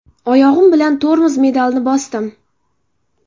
Oyog‘im bilan tormoz pedalini bosdim.